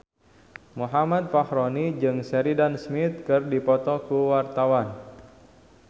Muhammad Fachroni jeung Sheridan Smith keur dipoto ku wartawan